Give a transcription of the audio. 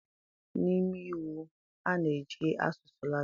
N'ime Iwu, a na-eji asụsụ Latịn.